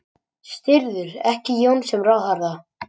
Styður ekki Jón sem ráðherra